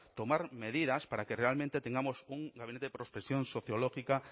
tomar medidas para que realmente tengamos un gabinete de prospección sociológica